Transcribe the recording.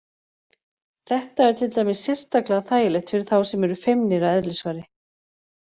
Þetta er til dæmis sérstaklega þægilegt fyrir þá sem eru feimnir að eðlisfari.